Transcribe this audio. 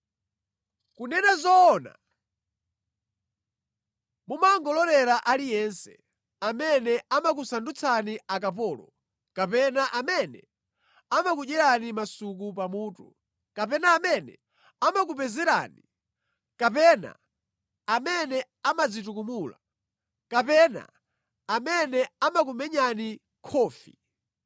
Kunena zoona mumangololera aliyense; amene amakusandutsani akapolo, kapena amene amakudyerani masuku pamutu, kapena amene amakupezererani, kapena amene amadzitukumula, kapena amene amakumenyani khofi.